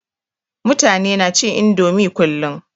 Mutani na cin indomie kullum